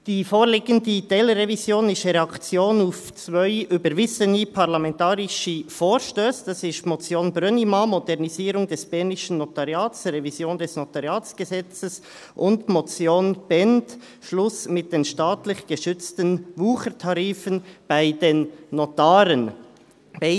Die vorliegende Teilrevision ist eine Reaktion auf zwei überwiesene parlamentarische Vorstösse: die Motion Brönnimann, «Modernisierung des bernischen Notariats – Revision des Notariatsgesetzes» , und die Motion Bhend, «Schluss mit den staatlich geschützten Wuchertarifen bei den Notaren» .